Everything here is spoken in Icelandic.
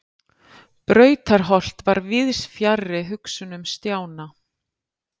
Brautarholt var víðs fjarri hugsunum Stjána.